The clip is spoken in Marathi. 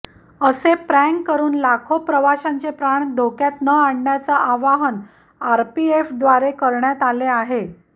असे प्रँक करुन लाखो प्रवाशांचे प्राण धोक्यात न आणण्याचं आवाहन आरपीएफद्वारे करण्यात आले आहे